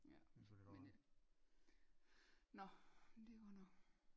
Ja men øh nå det går nok